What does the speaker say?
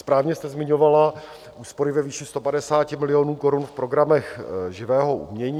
Správně jste zmiňovala úspory ve výši 150 milionů korun v programech živého umění.